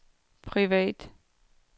privat